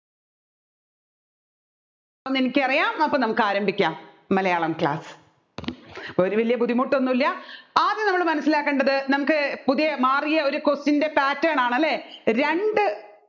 എന്നെനിക്കറിയാം നമ്മുക്കാരംഭിക്കാം മലയാളം class ഒരു വലിയ ബുദ്ധിമുട്ടൊന്നുമില്ല ആദ്യം നമ്മൾ മനസ്സിലാക്കേണ്ടത് നമ്മുക്ക് പുതിയ മാറിയ ഒരു question ൻറെ pattern നാണ്